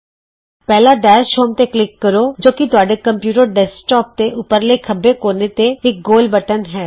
ਪਹਿਲਾਂ dash home ਤੇ click ਕਰੋ ਜੋ ਕਿ ਤੁਹਾਡੇ ਕੰਪਯੂਟਰ ਡੈਸਕਟੋਪ ਦੇ ਉਪਰਲੇ ਖੱਬੇ ਕੋਨੇ ਤੇ ਇਕ ਗੋਲ ਬਟਨ ਹੈ